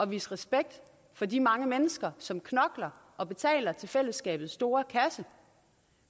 vise respekt for de mange mennesker som knokler og betaler til fællesskabets store kasse